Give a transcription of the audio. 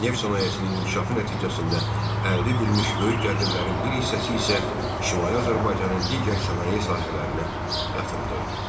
Neft sənayesinin inkişafı nəticəsində əldə edilmiş böyük gəlirlərin bir hissəsi isə Şimali Azərbaycanın digər sənaye sahələrinə yatırılırdı.